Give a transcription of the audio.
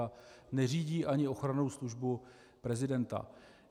A neřídí ani ochrannou službu prezidenta.